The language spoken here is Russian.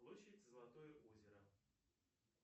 площадь золотое озеро